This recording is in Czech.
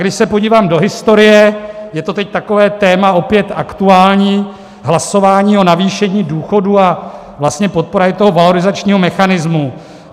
Když se podívám do historie, je to teď takové téma opět aktuální, hlasování o navýšení důchodů a vlastně podpora i toho valorizačního mechanismu.